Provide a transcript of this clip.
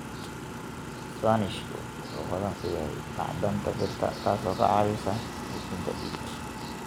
Isbaanishku wuxuu hodan ku yahay macdanta birta, taasoo ka caawisa xoojinta dhiigga.